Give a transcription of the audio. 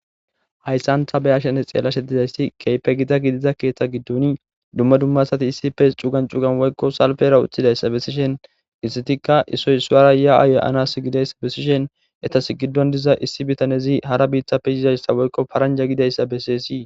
hayssanta beyashene xeella shedizayssi keype gida gidida keeththa giddoni dumma dummasati issife cugan cugan woykko salbera uththidayssa bessishen issitikka isoy suwara ya7aye-anas gidayssa besishen etas giddon diza issi bitanezi hara biiththappe yizayssa woykko paranja gidayssa beseesii.